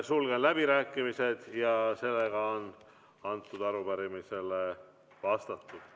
Sulgen läbirääkimised ja sellega on antud arupärimisele vastatud.